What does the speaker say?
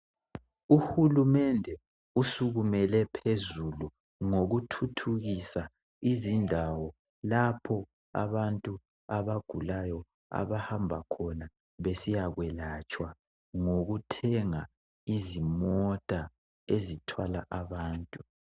Uhulumende usukumele phezulu ngokuthuthukisa indawo lapho abantu abagulayo abahamba khona besikwelatshwa ngothenga izimota ezithwala abantu.